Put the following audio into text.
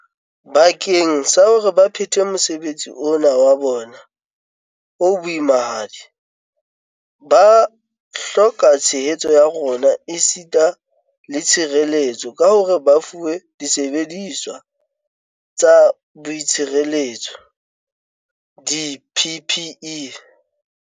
Bakeng sa hore ba phethe mosebetsi ona wa bona o boimahadi, ba hloka tshehetso ya rona esita le tshireletso ka hore ba fuwe disebediswa tsa boitshireletso, di-PPE.